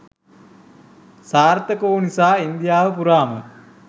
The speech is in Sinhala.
සාර්ථක වූ නිසා ඉන්දියාව පුරාම